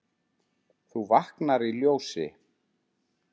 þú vaknar í ljósi.